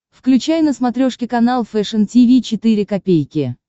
включай на смотрешке канал фэшн ти ви четыре ка